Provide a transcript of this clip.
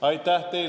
Aitäh!